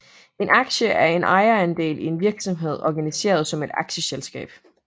En aktie er en ejerandel i en virksomhed organiseret som et aktieselskab